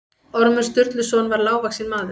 Ormur Sturluson var lágvaxinn maður.